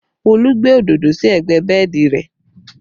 Olú gbé òdodo sí ẹgbẹ́ bẹ́ẹ̀dì rẹ